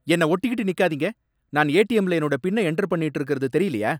என்னை ஒட்டிக்கிட்டு நிக்காதீங்க! நான் ஏடிஎம்ல என்னோட பின்னை என்டர் பண்ணிட்டு இருக்கறது தெரிலையா?